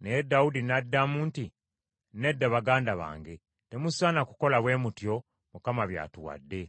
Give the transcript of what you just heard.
Naye Dawudi n’addamu nti, “Nedda baganda bange, temusaana kukola bwe mutyo, Mukama by’atuwadde.